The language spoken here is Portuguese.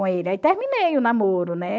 Aí terminei o namoro, né?